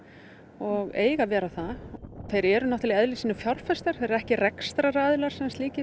og eiga að vera það þeir eru náttúrulega í eðli sínu fjárfestar þeir eru ekki rekstraraðilar